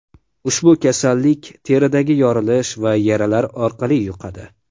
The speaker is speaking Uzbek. Ushbu kasallik teridagi yorilish va yaralar orqali yuqadi.